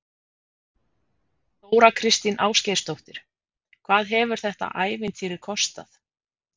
Þóra Kristín Ásgeirsdóttir: Hvað hefur þetta ævintýri kostað?